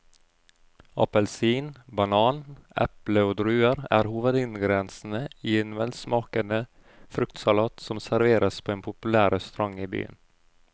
Appelsin, banan, eple og druer er hovedingredienser i en velsmakende fruktsalat som serveres på en populær restaurant i byen.